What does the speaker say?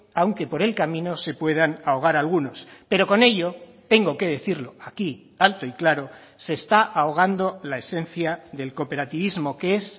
aunque por el camino se puedan ahogar algunos pero con ello tengo que decirlo aquí alto y claro se está ahogando la esencia del cooperativismo que es